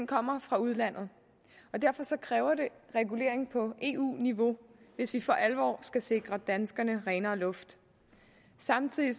kommer fra udlandet og derfor kræver det regulering på eu niveau hvis vi for alvor skal sikre danskerne renere luft samtidig